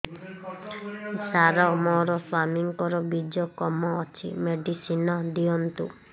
ସାର ମୋର ସ୍ୱାମୀଙ୍କର ବୀର୍ଯ୍ୟ କମ ଅଛି ମେଡିସିନ ଦିଅନ୍ତୁ